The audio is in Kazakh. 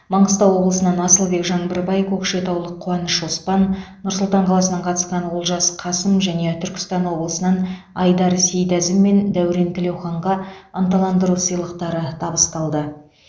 маңғыстау облысынан асылбек жаңбырбай көкшетаулық қуаныш оспан нұр сұлтан қаласынан қатысқан олжас қасым және түркістан облысынан айдар сейдәзім мен дәурен тілеуханға ынталандыру сыйлықтары табысталды